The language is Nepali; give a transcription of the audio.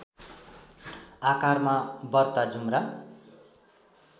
आकारमा बर्ता जुम्रा